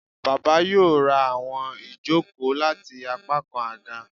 Baba yoo ra awọn ijoko lati apakan aga